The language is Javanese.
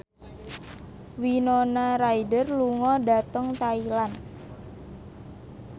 Winona Ryder lunga dhateng Thailand